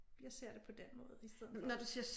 Jeg ser det på den måde i stedet for